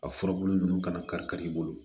A furabulu ninnu kana kari kari i bolo